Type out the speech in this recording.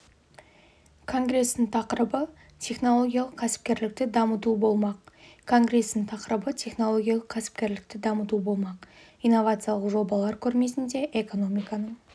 конгрестің тақырыбы технологиялық кәсіпкерлікті дамыту болмақ конгрестің тақырыбы технологиялық кәсіпкерлікті дамыту болмақ инновациялық жобалар көрмесінде экономиканың